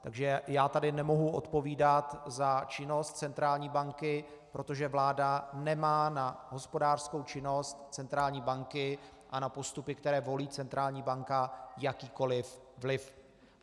Takže já tady nemohu odpovídat za činnost centrální banky, protože vláda nemá na hospodářskou činnost centrální banky a na postupy, které volí centrální banka, jakýkoli vliv.